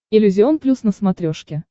иллюзион плюс на смотрешке